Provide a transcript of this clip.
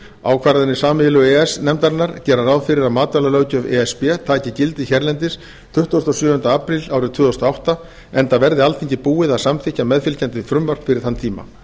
ákvarðanir sameiginlegu e e s nefndarinnar gera ráð fyrir að matvælalöggjöf e s b taki gildi hérlendis tuttugasta og sjöunda apríl árið tvö þúsund og átta enda verði alþingi búið að samþykkja meðfylgjandi frumvarp fyrir þann tíma